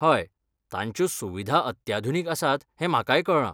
हय, तांच्यो सुविधा अत्याधुनीक आसात हें म्हाकाय कळ्ळां.